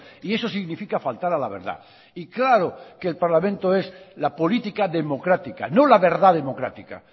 y eso significa faltar a la verdad y claro que el parlamento es la política democrática no la verdad democrática